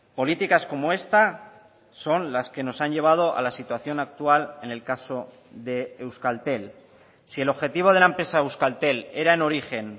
políticas como esta son las que nos han llevado a la situación actual en el caso de euskaltel si el objetivo de la empresa euskaltel era en origen